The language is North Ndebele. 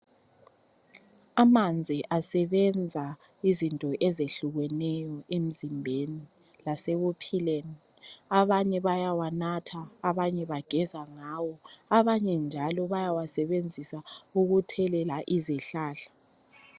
Amanzi asebenza izinto ezehlukeneyo emzimbeni lasekuphileni. Abanye bayawanatha, abanye bageza ngawo abanye njalo bayawasebenzisa ukuthelela izihlahla.